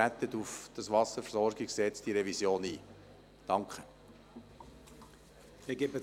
Bitte treten Sie auf die Revision des WVG ein.